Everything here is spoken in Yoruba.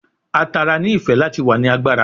A tara ni ife lati wa ni agbara